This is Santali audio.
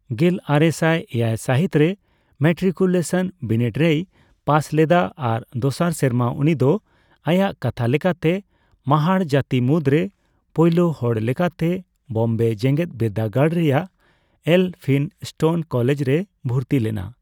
ᱜᱮᱞᱟᱨᱮᱥᱟᱭ ᱮᱭᱟᱭ ᱥᱟᱦᱤᱛ ᱨᱮ ᱢᱮᱴᱴᱨᱤᱠᱩᱞᱮᱥᱚᱱ ᱵᱤᱱᱤᱰ ᱨᱮᱭ ᱯᱟᱥ ᱞᱮᱫᱟ ᱟᱨ ᱫᱚᱥᱟᱨ ᱥᱮᱨᱢᱟ ᱩᱱᱤᱫᱚ ᱟᱭᱟᱜ ᱠᱟᱛᱷᱟ ᱞᱮᱠᱟᱛᱮ ᱢᱟᱦᱟᱲ ᱡᱟᱛᱤ ᱢᱩᱫᱽᱨᱮ ᱯᱳᱭᱞᱳ ᱦᱚᱲ ᱞᱮᱠᱟᱛᱮ, ᱵᱳᱢᱵᱮ ᱡᱮᱜᱮᱫᱵᱤᱨᱫᱟᱹᱜᱟᱲ ᱨᱮᱭᱟᱜ ᱮᱞ ᱯᱷᱤᱱ ᱥᱴᱳᱱ ᱠᱚᱞᱮᱡᱽ ᱨᱮᱭ ᱵᱷᱩᱨᱛᱤ ᱞᱮᱱᱟ ᱾